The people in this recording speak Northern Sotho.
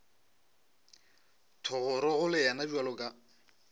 thogorogo le yena bjalo ka